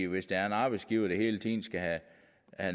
hvis der er en arbejdsgiver der hele tiden skal have